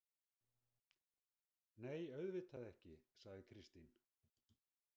Nei, auðvitað ekki, sagði Kristín.